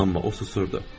Amma o susurdu.